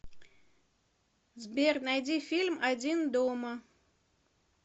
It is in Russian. сбер найди фильм один дома